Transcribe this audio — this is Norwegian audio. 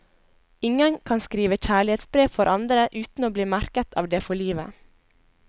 Ingen kan skrive kjærlighetsbrev for andre uten å bli merk et av det for livet.